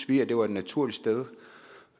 vi at det var et naturligt sted